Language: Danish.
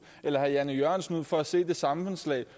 eller herre jan e jørgensen ud for at se det samfundslag